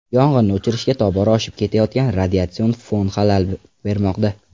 Yong‘inni o‘chirishga tobora oshib ketayotgan radiatsion fon xalal bermoqda.